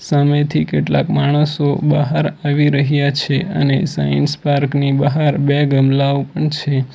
સામેથી કેટલાક માણસો બહાર આવી રહ્યા છે અને સાયન્સ પાર્કની બહાર બે ગમલાઓ પણ છે.